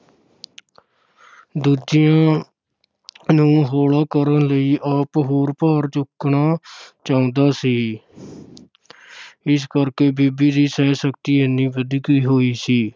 ਦੂਜਿਆਂ ਨੂੰ ਹੌਲਾ ਕਰਨ ਲਈ ਆਪ ਹੋਰ ਭਾਰ ਚੁੱਕਣਾ ਚਾਹੁੰਦਾ ਸੀ ਇਸ ਕਰਕੇ ਬਾਬੇ ਦੀ ਸਹਿਣ-ਸ਼ਕਤੀ ਇੰਨੀ ਵਧੀ ਹੋਈ ਸੀ।